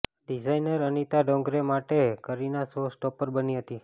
designer Anita Dongre માટે Kareena show stopper બની હતી